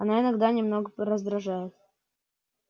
она иногда немного раздражает